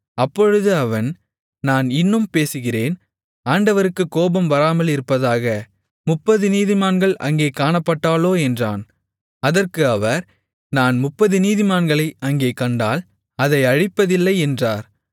அப்பொழுது அவன் நான் இன்னும் பேசுகிறேன் ஆண்டவருக்குக் கோபம் வராமலிருப்பதாக முப்பது நீதிமான்கள் அங்கே காணப்பட்டாலோ என்றான் அதற்கு அவர் நான் முப்பது நீதிமான்களை அங்கே கண்டால் அதை அழிப்பதில்லை என்றார்